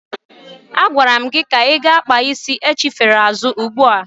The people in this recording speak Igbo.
Agwara m gị gaa kpaa isi achifere azụ ugbu a!